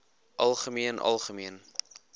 algemeen algemeen